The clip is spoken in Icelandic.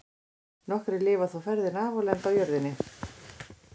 Nokkrir lifa þó ferðina af og lenda á jörðinni.